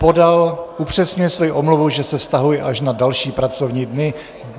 Podal upřesňuje svoji omluvu, že se vztahuje až na další pracovní dny.